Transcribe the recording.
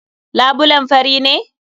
Labulen fari ne?